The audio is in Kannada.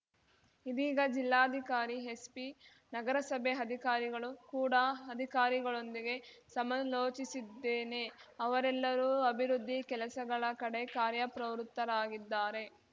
ಇದೀಗ ಜಿಲ್ಲಾಧಿಕಾರಿ ಎಸ್ಪಿ ನಗರಸಭೆ ಅಧಿಕಾರಿಗಳು ಕೂಡಾ ಅಧಿಕಾರಿಗಳೊಂದಿಗೆ ಸಮಲೋಚಿಸಿದ್ದೇನೆ ಅವರೆಲ್ಲರೂ ಅಭಿವೃದ್ಧಿ ಕೆಲಸಗಳ ಕಡೆ ಕಾರ್ಯಪ್ರವೃತ್ತರಾಗಿದ್ದಾರೆ